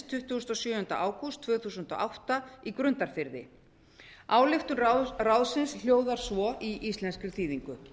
tuttugasta og sjöunda ágúst tvö þúsund og átta í grundarfirði ályktun ráðsins hljóðar svo í íslenskri þýðingu